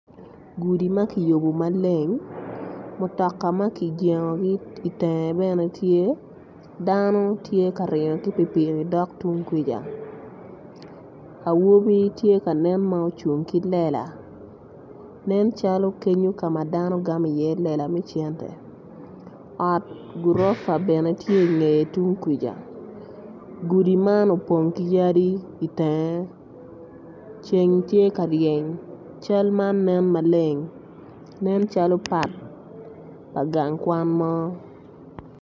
Gudi ma kiyubo maleng mutoka ma kijengogi bene itenge tye dano tye ka ringo ki pikipiki dok tung kwica awobi tye kanen ma ocung ki lela nen calo kenyo kama dano gamo i iye lela me cente ot gurofa bene tye ingeye tung kwica gudi man opong ki yadi itenge ceng tye ka ryeny cal man nen maleng nen calo pat pa gang kwan mo